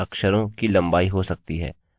या 1 अक्षरकैरेक्टरलम्बा